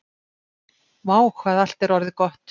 """Vá, hvað allt er orðið gott."""